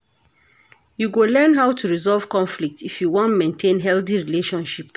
You go learn how to resolve conflict if you wan maintain healthy relationship.